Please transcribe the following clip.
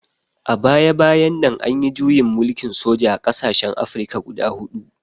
A baya-bayan nan an yi juyin mulkin soja a ƙasashen Afirka guda huɗu.